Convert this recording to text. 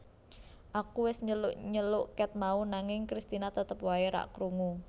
Aku wes nyeluk nyeluk ket mau nanging Kristina tetep wae ra krungu